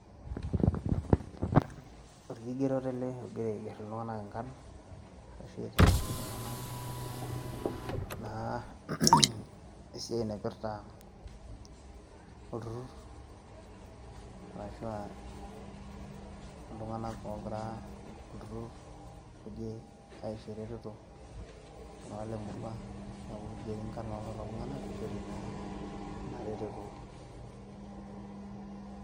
orkigeroto orgirae aigerr iltung'anak inkarrn arashu aiteng'en iltung'anak naa esiai naipirrta olturrur arashua iltung'anak ogira olturrur oje aisho eretoto iltung'anak lemurua niaku kigeri inkarrn ololo tung'anak pishori ina retoto.